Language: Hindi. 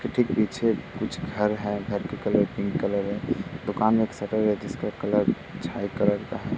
ठीक पीछे कुछ घर हैं। घर के कलर पिंक कलर हैं। दुकान में एक शटर है। उसका कलर छाय कलर का है।